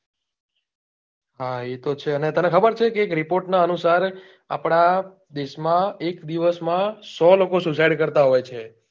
હા એ તો છે ને તને ખબર છે એક report નાં અનુસાર આપડા દેશ માં એક દિવસ માં સો લોકો suicide કરતા હોય છે